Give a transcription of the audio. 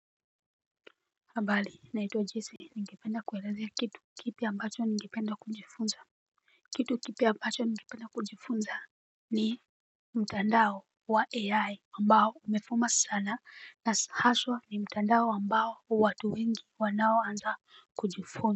Habari, naitwa Jessy, ningependa kuelezea kitu kipya ambacho ningependa kujifunza. Kitu kipya ambacho ningependa kujifunza ni mtandao wa AI ambao umevuma sana na haswa ni mtandao ambao watu wengi wanaoanza kujifunza.